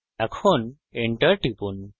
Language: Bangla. এখন enter টিপুন